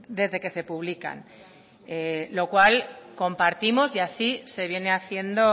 desde que se publican lo cual compartimos y así se viene haciendo